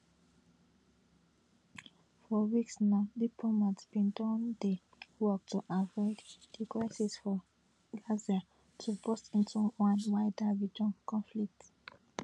for weeks now diplomats bin don dey work to try avoid di crisis for gaza to burst into one wider regional conflict